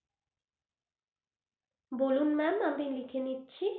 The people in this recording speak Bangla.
বলুন ma'am আমি লিখে নিচ্ছি।